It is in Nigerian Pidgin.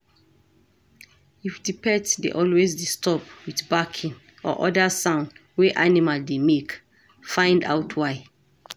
If di pet dey always disturb with barking or oda sound wey animal dey make, find out why